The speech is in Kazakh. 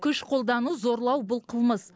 күш қолдану зорлау бұл қылмыс